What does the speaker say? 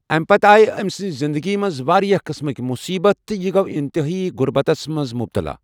اَمہِ پتہٕ آیہِ أمۍ سٕنٛدِ زندگی منٛز واریٛاہ قٕسمٕک مُصیٖبتہٕ تہٕ یہِ گوٚو انتہٲئی غربتَس منٛز مُبتلا۔